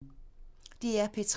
DR P3